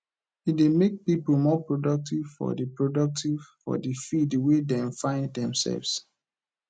e de make pipo more productive for the productive for the field wey dem find themselves